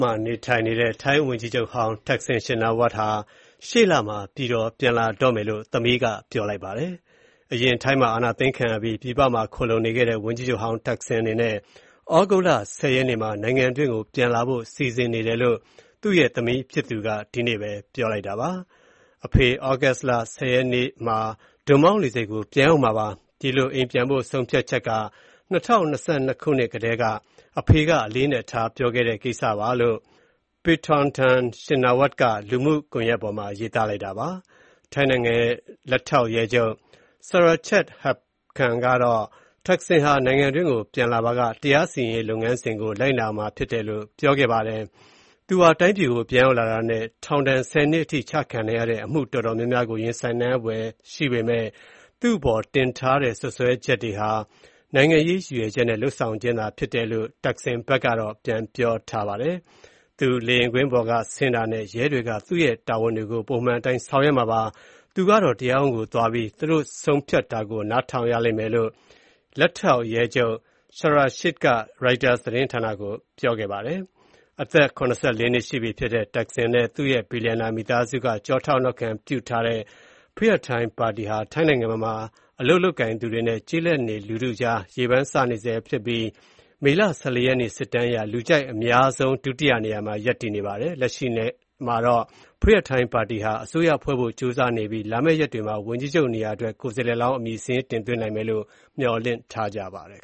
မှာနေထိုင်နေတဲ့ ထိုင်းဝန်ကြီးချုပ်ဟောင်း Thaksin Shinawatra ဟာ သြဂုတ် ၁၀ ရက်မှာ နိုင်ငံတွင်းကို ပြန်လာဖို့ စီစဉ်နေတယ်လို့ သူ့ရဲ့သမီးဖြစ်သူက ဒီနေ့ပဲ ပြောပါတယ်။ “အဖေက သြဂုတ်လ ၁၀ ရက်နေ့မှာ ဒွန်မောင်းလေဆိပ်ကို ပြန်ရောက်မှာပါ။ ဒီလို အိမ်ပြန်ဖို့ ဆုံးဖြတ်ချက်က ၂၀၂၂ ခုနှစ်အစကတည်းက အဖေက အလေးအနက်ထား ပြောခဲ့တဲ့ ကိစ္စပါ။” လို့ Paetongtarn Shinawatra က လူမှုကွန်ယက်ပေါ်မှာ ရေးသား ထားပါတယ်။ ထိုင်းနိုင်ငံရဲ့ လက်ထောက်ရဲချုပ် Surachate Hakparn ကတော့ သက်ဆင်ဟာ နိုင်ငံတွင်းကို ပြန်လာပါက တရားစီရင်ရေး လုပ်ငန်းစဉ်ကို လိုက်နာရမှာဖြစ်တယ်လို့ ပြောပါတယ်။ သူဟာ တိုင်းပြည်ကို ပြန်ရောက်တာနဲ့ ထောင်ဒဏ် ၁၀ နှစ်အထိ ကျခံရနိုင်တဲ့ အမှုအတော်များများကို ရင်ဆိုင်ရဖွယ်ရှိပေမယ့် သူ့အပေါ် တင်ထားတဲ့ စွဲချက်တွေဟာ နိုင်ငံရေးရည်ရွယ်ချက်နဲ့ လုပ်ဆောင်ခြင်းဖြစ်တယ်လို့ Thaksin က ပြောထားပါတယ်။ "သူ လေယာဉ်ပေါ်က ဆင်းတာနဲ့ ရဲတွေက သူတို့ရဲ့တာဝန်တွေကို ပုံမှန်အတိုင်း ဆောင်ရွက်မှာပါ။ သူကတော့ တရားရုံးကိုသွားပြီး သူတို့ဆုံးဖြတ်တာကို နားထောင်ရလိမ့်မယ်" လို့ Surachate က ရိုက်တာသတင်းဌာနကို ပြောပါတယ်။ အသက် ၇၄ နှစ်ရှိ ပြီဖြစ်တဲ့ သက်ဆင်နဲ့ သူ့ရဲ့ ဘီလျံနာမိသားစုက ကျောထောက်နောက်ခံပြုထားတဲ့ Pheu Thai ပါတီဟာ ထိုင်းနိုင်ငံမှာ အလုပ်လုပ်ကိုင်သူတွေနဲ့ ကျေးလက်နေလူထုကြားမှာ ရေပန်းစားနေဆဲဖြစ်ပြီး မေလ ၁၄ ရက် စစ်တမ်းအရ လူကြိုက်အများဆုံး ဒုတိယနေရာမှာ ရပ်တည်နေတာပါ။ လက်ရှိမှာတော့ Pheu Thai ပါတီဟာ အစိုးရဖွဲ့ဖို့ ကြိုးစားနေပြီး လာမည့်ရက်တွေမှာ ဝန်ကြီးချုပ်နေရာအတွက် ကိုယ်စားလှယ်လောင်း အမည်စာရင်းတင်သွင်းနိုင်ဖို့ မျှော်လင့်ထားပါတယ်